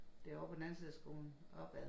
Det ovre på den anden side af skolen opad